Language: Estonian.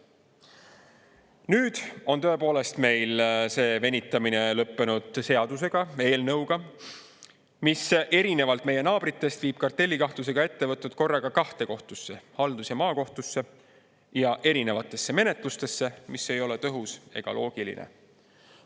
Nüüd on tõepoolest meil see venitamine lõppenud seaduseelnõuga, mis erinevalt meie naabritest viib kartellikahtlusega ettevõtted korraga kahte kohtusse – haldus- ja maakohtusse – ja erinevatesse menetlustesse, mis ei ole tõhus ega loogiline.